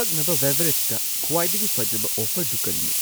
ꯊꯛꯅꯕ ꯕꯦꯚꯦꯔꯦꯖꯇ ꯈ꯭ꯋꯥꯏꯗꯒꯤ ꯐꯖꯕ ꯑꯣꯐꯔꯗꯨ ꯀꯔꯤꯅꯣ?